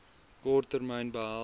kort termyn behels